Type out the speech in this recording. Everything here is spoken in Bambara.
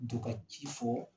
Don ka ci fɔ